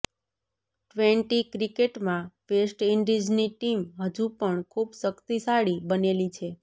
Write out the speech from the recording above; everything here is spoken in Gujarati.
ટ્વેન્ટી ક્રિકેટમાં વેસ્ટ ઇન્ડિઝની ટીમ હજુ પણ ખુબ શક્તિશાળી બનેલી છે